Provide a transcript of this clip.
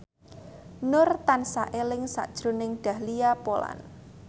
Nur tansah eling sakjroning Dahlia Poland